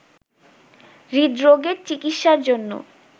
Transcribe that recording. হৃদরোগের চিকিৎসার জন্য